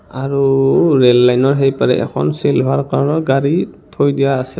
আৰু ও rail line ৰ সেইপাৰে এখন চিলভাৰ কালাৰ গাড়ী থৈ দিয়া আছে.